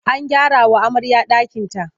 An gyarawa amarya ɗakinta.